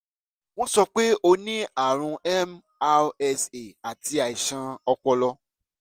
wọ́n sọ pé ó ní àrùn mrsa àti àìsàn ọpọlọ